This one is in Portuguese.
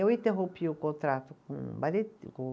Eu interrompi o contrato com o balê